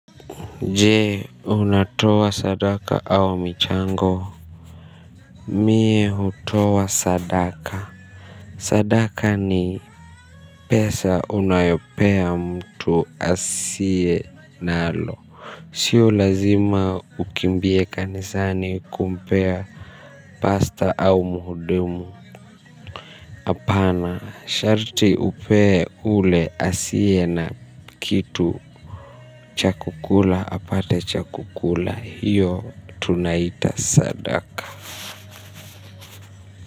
Jee unatoa sadaka au michango. Mie hutoa sadaka. Sadaka ni pesa unayopea mtu asiye nalo. Sio lazima ukimbie kanisani kumpea pasta au muhudumu. Apana sharti upee ule asiye na kitu cha kukula apate cha kukula hiyo tunaita sadaka.